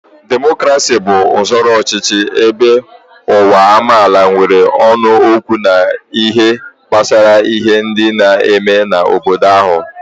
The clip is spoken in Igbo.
Demokrasi bu usoro ọchịchị ebe uwu amaala nwere ónu okwu n'ihe gbasara ihe ndi n'eme n'obodo ahu